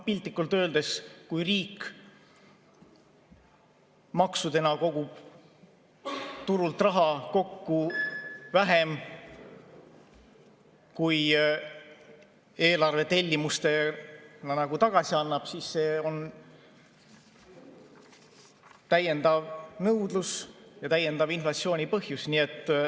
Piltlikult öeldes, kui riik maksudena kogub turult raha kokku vähem, kui eelarvetellimustena tagasi annab, siis see on täiendav nõudlus ja täiendava inflatsiooni põhjus.